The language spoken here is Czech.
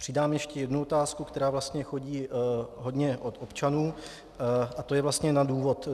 Přidám ještě jednu otázku, která vlastně chodí hodně od občanů, a to je vlastně na důvod.